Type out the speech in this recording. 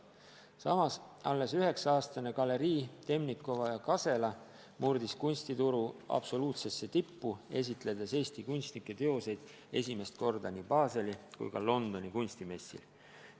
Samas alles 9-aastane galerii Temnikova & Kasela murdis kunstituru absoluutsesse tippu, esitledes Eesti kunstnike teoseid esimest korda nii Baseli kui ka Londoni kunstimessil.